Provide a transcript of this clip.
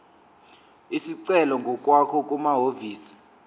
isicelo ngokwakho kumahhovisi